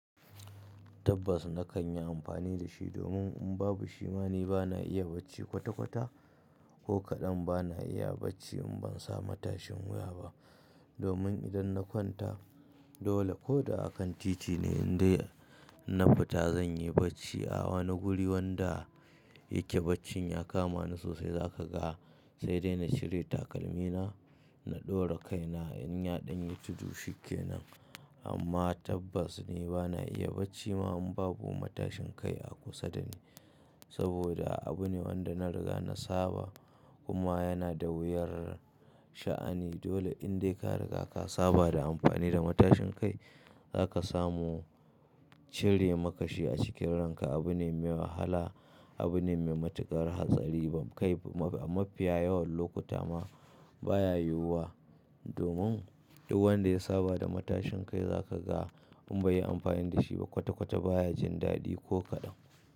Tabbas na kan yi amfani da shi domin in babu shi ma ni ba na iya bacci kwata kwata, ko kaɗan ba na iya bacci in ban samu matashin wuya ba. Domin idan na kwanta dole ko da a kan titi ne in dai na fita zan yi bacci. Awa na guri wanda yake bacci ya kama ni sosai za ka ga sai dai na cire takalmina, na ɗora kaina in ya ɗan yi tudu shi ke nan. Amma tabbas ne ba na iya bacci ma in babu matashin kai a kusa da ni. Saboda abu ne wanda na riga na saba kuma yana da wuyar sha'ani. Dole in dai ka riga ka saba da amfani da matashin kai za ka samu cirri makashi a cikin ranka. Abu ne mai wahala, abu ne mai matuƙar hatsari. Mafiya yawan lokuta ma baya yiwuwa domin duk wanda ya saba da matashin kai za ka ga in bai yi amfani da shi ba kwata kwata baya jin daɗi ko kaɗan.